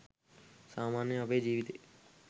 සාමාන්‍යයෙන් අපේ ජීවිතේ